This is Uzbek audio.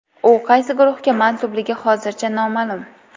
U qaysi guruhga mansubligi hozircha noma’lum.